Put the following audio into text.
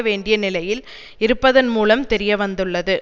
வேண்டிய நிலையில் இருப்பதன் மூலம் தெரியவந்துள்ளது